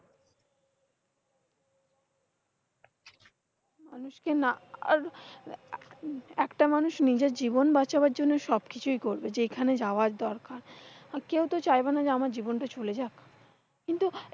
মানুষকে না আহ আর একটা মানুষ নিজের জীবন বাঁচানোর জন্য সবকিছুই করবে, সেখানে যাওয়ার দরকার। আর কেউতো চাইবে না যে আমার জীবনটা চলে যাক কিন্তু,